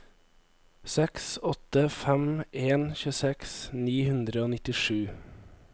seks åtte fem en tjueseks ni hundre og nittisju